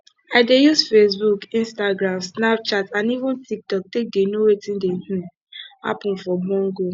i dey use facebook instagram snapchat and even tiktok take dey know wetin dey um happen for bongo